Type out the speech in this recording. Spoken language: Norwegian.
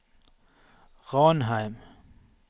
Ranheim